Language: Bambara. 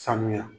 Sanuya